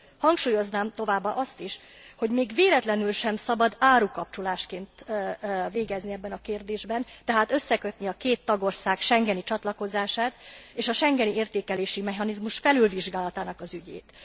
Hangsúlyoznám továbbá azt is, hogy még véletlenül sem szabad árukapcsolásként végezni ebben a kérdésben, tehát összekötni a két tagország schengeni csatlakozását és a schengeni értékelési mechanizmus felülvizsgálatának az ügyét.